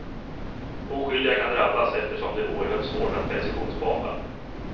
Oskyldiga kan drabbas eftersom det är oerhört svårt att precisionsbomba.